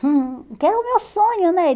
Que era o meu sonho, né?